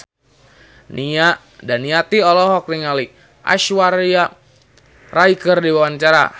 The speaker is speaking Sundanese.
Nia Daniati olohok ningali Aishwarya Rai keur diwawancara